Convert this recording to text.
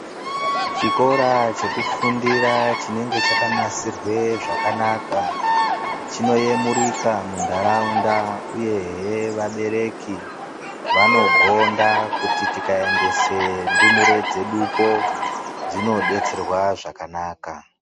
Chikora chekufundira chinenge chakanasirwe zvakanaka chinoyemurika muntaraunda uyehe vabereki vanogonda kuti tikaendese ndumure dzedupo dzinodetserwa zvakanaka.